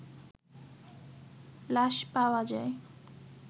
লাশপাওয়া যায়